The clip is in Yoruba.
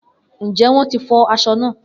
Njẹ wọn ti fọ aṣọ- naa?